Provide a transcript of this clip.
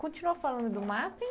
Continua falando do mapping.